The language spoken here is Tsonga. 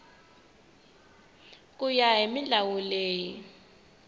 ku ya hi milawu leyi